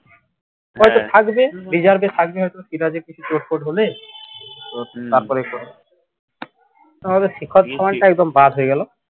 থাকবে থাকবে হয়ত সিরাজের কিছু হলে তাহলে শিখর ধাবনটা একদম বাদ হয়ে গেল।